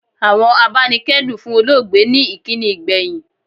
Àwọn abanikedun fún olóògbé ní ìkíni ìgbẹ̀yìn.